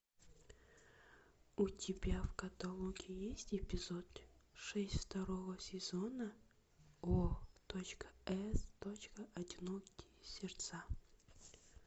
у тебя в каталоге есть эпизод шесть второго сезона о точка с точка одинокие сердца